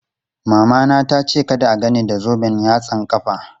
Mamana tace kada a gan ni da zoben yatsan ƙafa.